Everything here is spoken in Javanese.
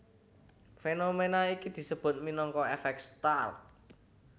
Fénoména iki disebut minangka èfèk Stark